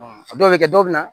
A dɔw bɛ kɛ dɔw bɛ na